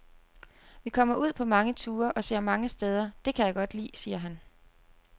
Vi kommer ud på mange ture og ser mange steder, det kan jeg godt lide, siger han.